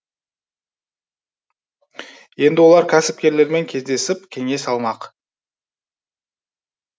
енді олар кәсіпкерлермен кездесіп кеңес алмақ